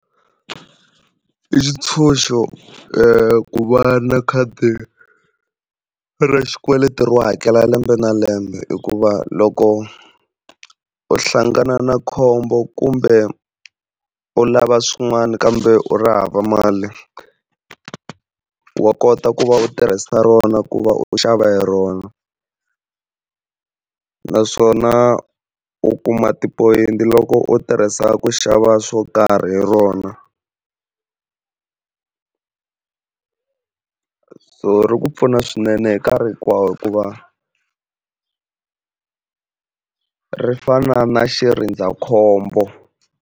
I xitshunxo ku va na khadi ra xikweleti ro hakela lembe na lembe hikuva loko u hlangana na khombo kumbe u lava swin'wana kambe u ri hava mali wa kota ku va u tirhisa rona ku va u xava hi rona, naswona u kuma tipoyinti loko u tirhisa ku xava swo karhi hi rona. So ri ku pfuna swinene hi nkarhi hinkwawo hikuva ri fana na xirindzakhombo.